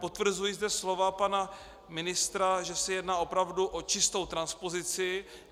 Potvrzuji zde slova pana ministra, že se jedná opravdu o čistou transpozici.